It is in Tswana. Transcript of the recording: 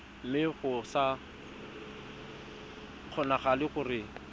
mme go sa kgonagale gore